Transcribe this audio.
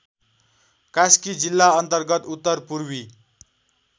कास्की जिल्लाअन्तर्गत उत्तरपूर्वी